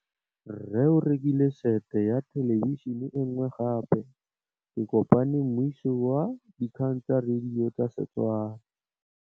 Rre o rekile sete ya thêlêbišênê e nngwe gape. Ke kopane mmuisi w dikgang tsa radio tsa Setswana.